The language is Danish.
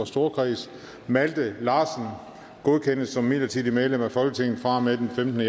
storkreds malte larsen godkendes som midlertidigt medlem af folketinget fra og med den femtende